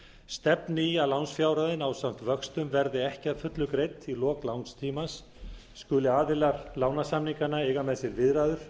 stefni í að lánsfjárhæðin ásamt vöxtum verði ekki að fullu greidd í lok lánstímans skuli aðilar lánasamninganna eiga með sér viðræður